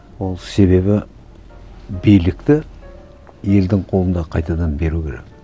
ол себебі билікті елдің қолына қайтадан беру керек